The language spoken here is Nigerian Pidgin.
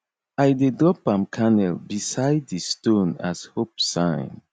i dey drop palm kernel beside di stone as hope sign